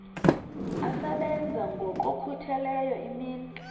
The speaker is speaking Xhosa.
asebenza ngokokhutheleyo imini